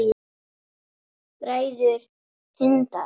Bræður Hindar